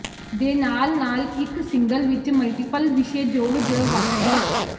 ਦੇ ਨਾਲ ਨਾਲ ਇੱਕ ਸਿੰਗਲ ਵਿਚ ਮਲਟੀਪਲ ਵਿਸ਼ੇ ਜੋੜ ਜ ਵੱਖ ਕਰੋ